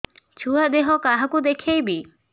ଛୁଆ ଦେହ କାହାକୁ ଦେଖେଇବି